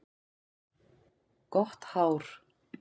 Gott hár.